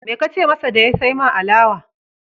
Me ka ce masa da ya sai ma alawa?